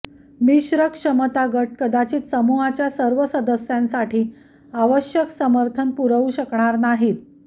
मिश्र क्षमता गट कदाचित समूहाच्या सर्व सदस्यांसाठी आवश्यक समर्थन पुरवू शकणार नाहीत